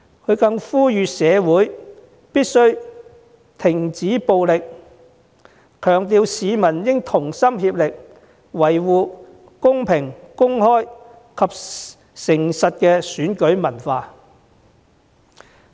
他又呼籲社會必須停止暴力，強調市民應該同心協力，維護公平公開及誠實的選舉文化。